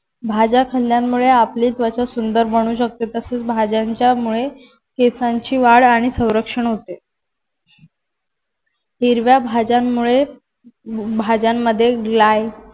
माझ्या हल्ल्यामुळे आपली त्वचा सुंदर बनू शकते तसेच भाज्यांच्या मुळे केसांची वाढ आणि संरक्षण होते हिरव्या भाज्यांमुळे भाज्यांमध्ये glay